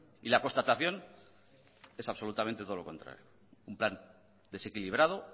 y la constatación es absolutamente todo lo contrario un plan desequilibrado